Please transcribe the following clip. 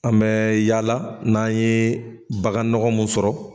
An bɛ yaala n'an ye bagan nɔgɔ mun sɔrɔ